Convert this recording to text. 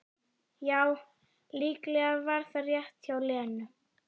Já, líklega var það rétt hjá Lenu.